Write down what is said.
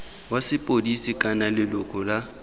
wa sepodisi kana leloko la